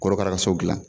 Korokara ka so dilan